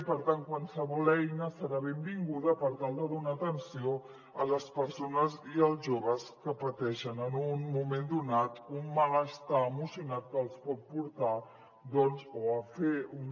i per tant qualsevol eina serà benvinguda per tal de donar atenció a les persones i als joves que pateixen en un moment donat un malestar emocional que els pot portar doncs o a fer una